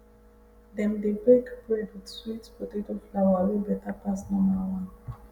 dem dey bake bread with sweet potato flour wey better pass normal one